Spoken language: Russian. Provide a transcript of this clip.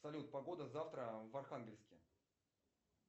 салют погода завтра в архангельске